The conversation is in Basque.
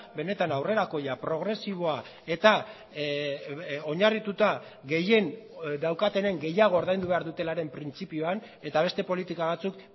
benetan aurrerakoia progresiboa eta oinarrituta gehien daukatenen gehiago ordaindu behar dutelaren printzipioan eta beste politika batzuk